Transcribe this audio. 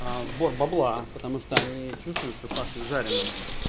сбор бабла потому что они чувствуют что пахнет жареным